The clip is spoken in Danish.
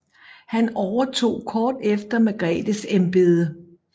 Han overtog kort efter Margretes embede